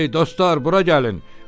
"Ey dostlar, bura gəlin!